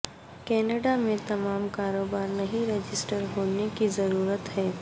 Canada میں تمام کاروبار نہیں رجسٹر ہونے کی ضرورت ہے